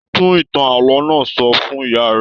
Tún ìtàn ààlọ́ náà sọ fún ìyá rẹ!